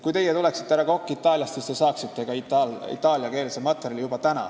Kui teie tuleksite, härra Kokk, Itaaliast, siis te saaksite juba täna ka itaaliakeelse materjali.